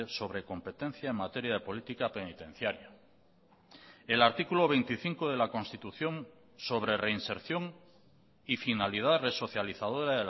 sobre competencia en materia de política penitenciaria el artículo veinticinco de la constitución sobre reinserción y finalidad resocializadora